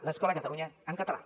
l’escola a catalunya en català